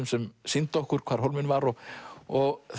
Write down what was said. sem sýndi okkur hvar hólminn var og og